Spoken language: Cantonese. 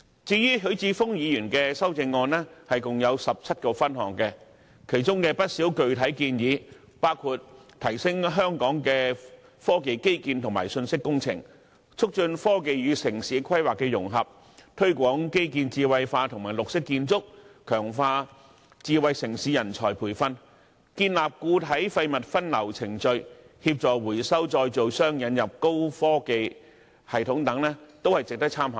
至於許智峯議員的修正案共有17個分項，當中不少具體建議，包括提升香港科技基建和信息工程、促進科技與城市規劃的融合、推廣基建智慧化和綠色建築、強化智慧城市人才培訓、建立固體廢物分流程序、協助回收再造商引入高科技系統等，也是值得參考的。